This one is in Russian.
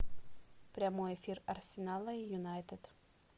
прямой эфир арсенала и юнайтед